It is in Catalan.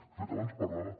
de fet abans parlava